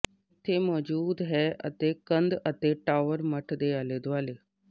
ਇੱਥੇ ਮੌਜੂਦ ਹੈ ਅਤੇ ਕੰਧ ਅਤੇ ਟਾਵਰ ਮੱਠ ਦੇ ਆਲੇ ਦੁਆਲੇ